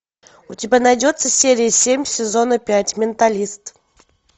у тебя найдется серия семь сезона пять менталист